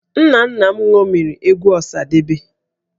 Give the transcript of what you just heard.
Nna nna m ṅomiri egwu Ọsadebe